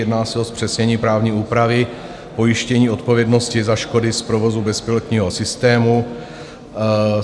Jedná se o zpřesnění právní úpravy pojištění odpovědnosti za škody z provozu bezpilotního systému.